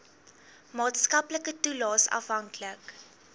maatskaplike toelaes afhanklik